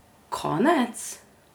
Konec?